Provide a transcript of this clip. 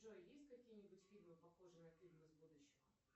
джой есть какие нибудь фильмы похожие на фильм из будущего